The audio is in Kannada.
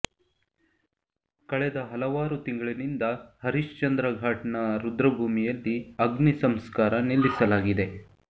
ಕಳೆದ ಹಲವಾರು ತಿಂಗಳಿನಿಂದ ಹರಿಶ್ಚಂದ್ರ ಘಾಟ್ನ ರುದ್ರಭೂಮಿಯಲ್ಲಿ ಅಗ್ನಿ ಸಂಸ್ಕಾರ ನಿಲ್ಲಿಸಲಾಗಿದೆ